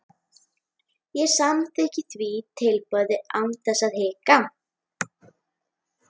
Ég samþykkti því tilboðið án þess að hika.